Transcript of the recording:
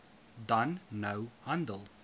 dan nou handel